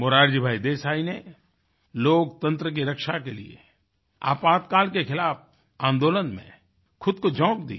मोरारजी भाई देसाई ने लोकतंत्र की रक्षा के लिए आपातकाल के खिलाफ आन्दोलन में खुद को झोंक दिया